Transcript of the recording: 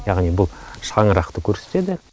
яғни бұл шаңырақты көрсетеді